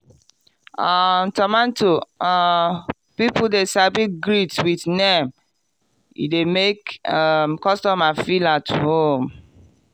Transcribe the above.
um tomato um people de sabi greet with name e dey make um customer feel at home.